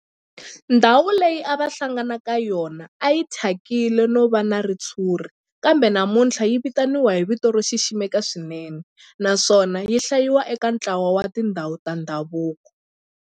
Ndhawu leyi a va hlangana ka yona a yi thyakile no va na ritshuri kambe namuntlha yi vitaniwa hi vito ro xiximeka swinene naswona yi hlayiwa eka ntlawa wa tindhawu ta ndhavuko.